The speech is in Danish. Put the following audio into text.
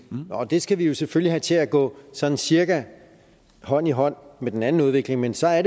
og det skal vi selvfølgelig have til at gå sådan cirka hånd i hånd med den anden udvikling men så er